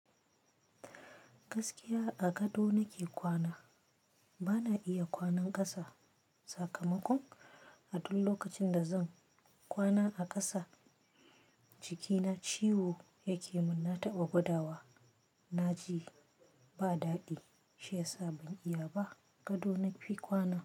Gaskiya a gado nake kwana. Bana iya kwanan ƙasa. Sakamakon a duk lokacin da zan kwana a ƙasa jikina ciwo yake mun. Na taɓa gudawa na ji ba daɗi, shi yasa ban iya ba. Gado nafi kwana.